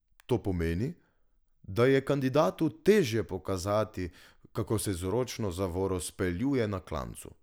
To pomeni, da je kandidatu težje pokazati, kako se z ročno zavoro speljuje na klancu.